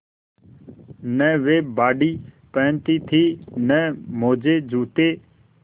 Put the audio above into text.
न वे बॉडी पहनती थी न मोजेजूते